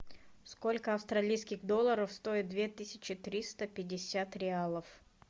сколько австралийских долларов стоит две тысячи триста пятьдесят реалов